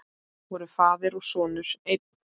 Voru faðir og sonur einn?